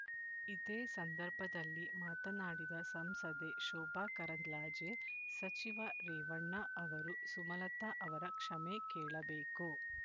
ಇದೇ ಸಂದರ್ಭದಲ್ಲಿ ಮಾತನಾಡಿದ ಸಂಸದೆ ಶೋಭಾಕರಂದ್ಲಾಜೆ ಸಚಿವ ರೇವಣ್ಣ ಅವರು ಸುಮಲತಾ ಅವರ ಕ್ಷಮೆ ಕೇಳಬೇಕು